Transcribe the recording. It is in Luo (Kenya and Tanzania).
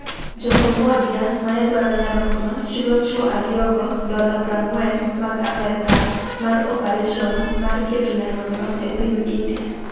Jo Cambodia manedwaro nyarogno chulo chwo ariyogo dola 40,000 mag Amerka mar opareson mar keto nyarogno e piny India.